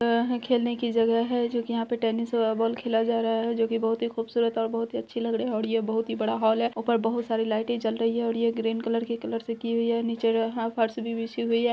जगह है खेलने की जगह है जो कि यहां पे टेनिस और बॉल खेला जा रहा है जो कि बहुत ही खूबसूरत और बहुत ही अच्छी लग रहे है और ये बहुत ही बड़ा हॉल है ऊपर बहुत सारी लाइटे जल रही है और ये ग्रीन कलर के कलर से की हुई है नीचे हां फर्श भी बिछी हुई है।